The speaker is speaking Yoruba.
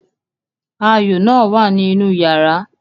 Ayo náà wà ní inú yàrá